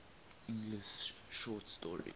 english short story